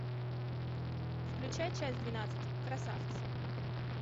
включай часть двенадцать красавцы